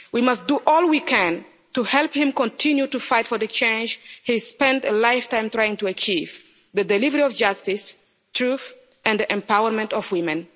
We must do all we can to help him continue to fight for the change he has spent a lifetime trying to achieve the delivery of justice, truth and the empowerment of women.